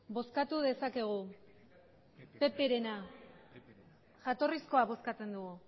bozkatu dezakegu pp taldearena jatorrizkoa bozkatzen dugu